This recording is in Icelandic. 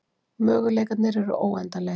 Möguleikarnir eru óendanlegir